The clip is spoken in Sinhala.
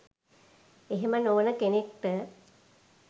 එහෙම නොවන කෙනෙක්ට